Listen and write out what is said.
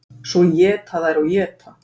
Svo éta þær og éta.